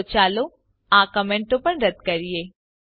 તો ચાલો આ કમેન્ટો પણ રદ્દ કરીએ